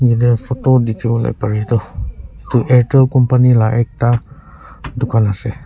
yatae photo dikhiwo parae toh edu eirrtel company la ekta dukan ase.